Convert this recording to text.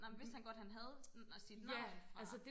nej men vidste han godt han havde sit navn fra